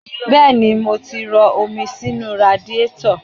Bẹ́ẹ̀ni, mo ti rọ omi sínú radiétọ̀